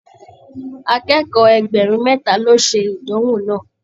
Akẹ́kọ̀ọ́ ẹgbẹrun mẹta lo ṣe ìdánwò náà.